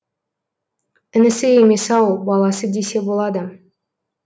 інісі емес ау баласы десе болады